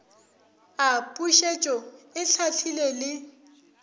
a pušetšo e hlahlile le